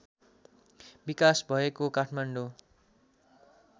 विकास भएको काठमाडौँ